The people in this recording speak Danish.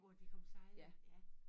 Hvor de kom sejlende ja